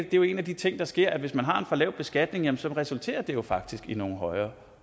jo en af de ting der sker hvis man har en for lav beskatning jamen så resulterer det jo faktisk i nogle højere